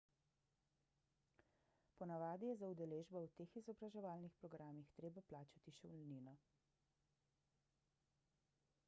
ponavadi je za udeležbo v teh izobraževalnih programih treba plačati šolnino